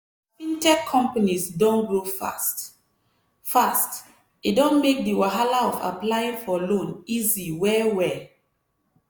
as fintech companies don grow fast-fast e don make the wahala of applying for loan easy well-well.